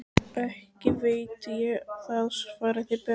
Ekki veit ég það, svaraði Björn.